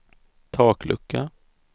taklucka